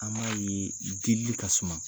An b'a ye delili ka suma.